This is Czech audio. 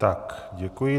Tak děkuji.